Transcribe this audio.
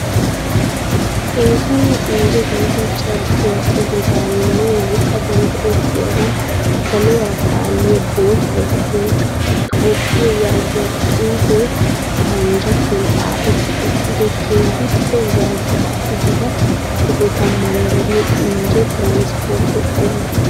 Eesonne injje gidida carkkuwaa ogedaninne wolqqadan go'ettiyogan saluwaara paalliya boottay telxxa "Tophphiya" yaagiya xuufe paranjjattuwan xafetti uttido keehippe zardda'a gidida sohota manddariyo injje tiranispportte qommuwaa.